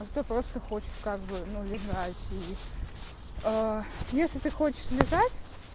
а всё просто хочешь как бы ну лежать и если ты хочешь лежать